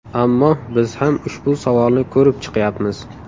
Ammo biz ham ushbu savolni ko‘rib chiqyapmiz.